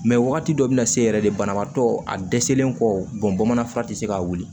Mɛ wagati dɔ bɛ na se yɛrɛ de banabaatɔ a dɛsɛlen kɔ bamanan fura tɛ se ka wuli